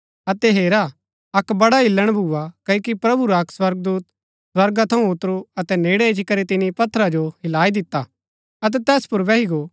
अतै हेरा अक्क बड़ा हिल्‍लण भुआ क्ओकि प्रभु रा अक्क स्वर्गदूत स्वर्गा थऊँ ऊतरू अतै नेड़ै इच्ची करी तिनी पत्थर जो हिलाई दिता अतै तैस पुर बैही गो